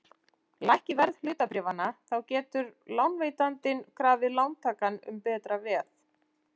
Lækki verð hlutabréfanna þá getur lánveitandinn krafið lántakann um betra veð.